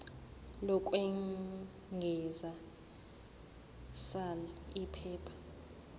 lokwengeza sal iphepha